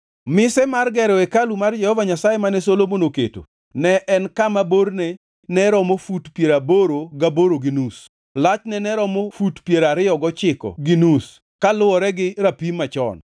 Mise mar gero hekalu mar Jehova Nyasaye mane Solomon oketo ne en kama: borne ne romo fut piero aboro gaboro gi nus, lachne ne romo fut piero ariyo gochiko gi nus kaluwore gi rapim machon.